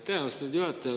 Aitäh, austatud juhataja!